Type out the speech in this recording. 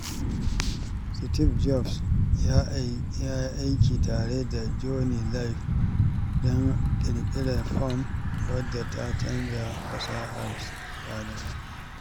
Steve Jobs ya yi aiki tare da Jony Ive don ƙirƙirar iPhone wadda ta canza fasahar sadarwa.